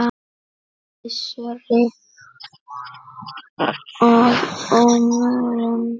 Gissuri að óvörum.